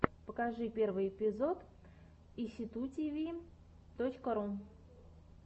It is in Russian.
покажи первый эпизод эсситутиви точка ру